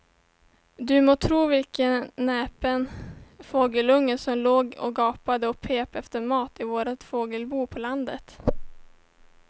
Du må tro vilken näpen fågelunge som låg och gapade och pep efter mat i vårt fågelbo på landet.